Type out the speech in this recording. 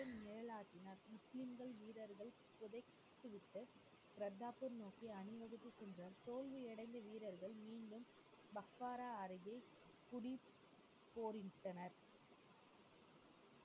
முறையாக முஸ்லிம்கள் வீரர்கள் சிறைபிடிக்கப்பட்டு தோல்வி அடைந்த வீரர்கள் மீண்டும் மக்காரா அருகில் புதிய போரிட்டனர்